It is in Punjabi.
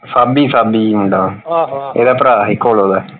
ਸਾਬੀ ਸਾਬੀ ਮੁੰਡਾ ਇਹਦਾ ਭਰਾ ਸੀ ਘੋਲੋ ਦਾ।